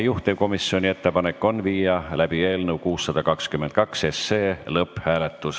Juhtivkomisjoni ettepanek on viia läbi eelnõu 622 lõpphääletus.